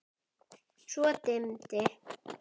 Svo dimmdi.